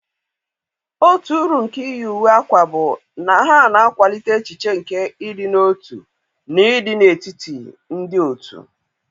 otu uru nke iyi uwe akwa bụ na ha na-akwalite echiche nke ịdị n'otu na ịdị n'etiti ndị òtù.